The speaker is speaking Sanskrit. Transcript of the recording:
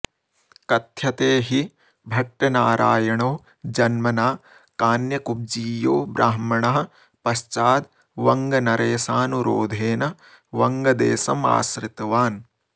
कथ्यते हि भट्टनारायणो जन्मना कान्यकुब्जीयो ब्राह्मणः पश्चाद्वङ्गनरेशानुरोधेन वङ्गदेशमाश्रितवान्